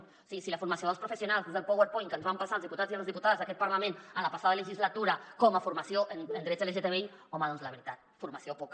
és a dir si la formació dels professionals és el powerpoint que ens van passar als diputats i a les diputades d’aquest parlament en la passada legislatura com a formació en drets lgtbi home doncs la veritat de formació poca